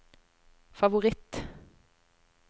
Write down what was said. favoritt